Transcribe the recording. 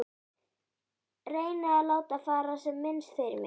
Reyni að láta fara sem minnst fyrir mér.